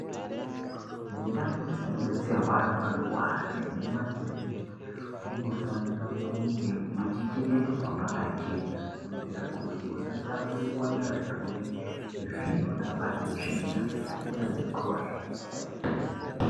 Mundau dzinobetserwa antu anorwara nemumakiriniki munofanira kunge muchichengetedzwa mwakachena kuitire kuti musatapurirwana zvirwere zvinoda pane tsvina zvakaita sekorera.